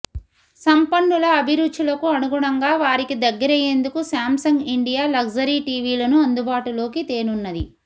సంపన్నుల అభిరుచులకు అనుగుణంగా వారికి దగ్గరయ్యేందుకు శామ్ సంగ్ ఇండియా లగ్జరీ టీవీలను అందుబాటులోకి తేనున్నది